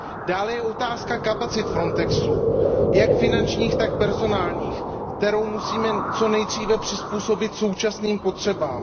Dále je zde otázka kapacit Frontexu, jak finančních, tak personálních, které musíme co nejdříve přizpůsobit současným potřebám.